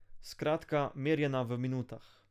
Skratka, merjena v minutah.